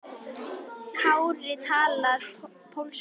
Kári talar pólsku.